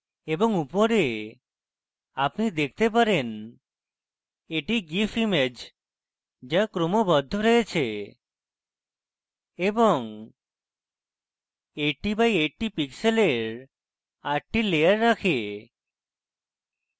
এবং উপরে আপনি দেখতে পারেন এটি gif image যা ক্রমবদ্ধ এবং 80 by 80 pixels আটটি লেয়ার রাখে